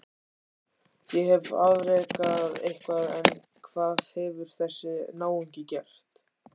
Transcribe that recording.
Ég hef afrekað eitthvað en hvað hefur þessi náungi gert?